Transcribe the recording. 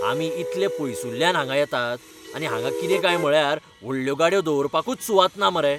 आमी इतलें पयसुल्ल्यान हांगां येतात आनी हांगां कितें काय म्हळ्यार व्हडल्यो गाडयो दवरपाकूच सुवात ना मरे.